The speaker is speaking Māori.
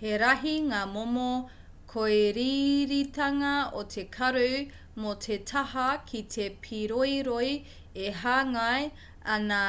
he rahi ngā momo kōiriiritanga o te karu mō te taha ki te pīroiroi e hāngai ana